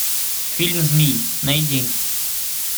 фильм змий найди